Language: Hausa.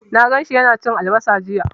Na gan shi yana cin albasa jiya.